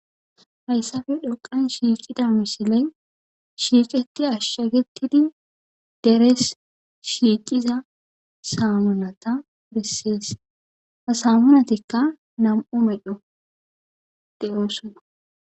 Hayssafe dhoqan shiicida misiley shiiqeti ashshagetidi deres shiiciza samunata pressees hasamunatikka nam7u no7o de7oosona